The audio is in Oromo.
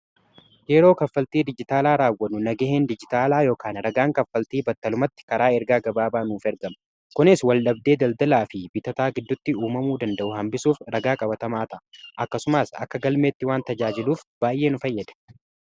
Yeroo kaffaltii dijitaalaa raawwanu naga'een dijitaalaa ykn ragaan kaffaltii battalumatti karaa ergaa gabaabaa nuuf ergamu kunis wal-dhabdee daldalaa fi bitataa giddutti uumamuu danda'u hambisuuf ragaa qabatamaa ta'a. akkasumaas akka galmeetti waan tajaajiluuf baay'ee nu fayyada.